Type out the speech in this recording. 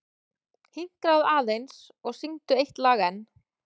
Hinkraðu aðeins og syngdu eitt lag enn.